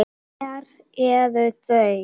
En það þurfti ekki til.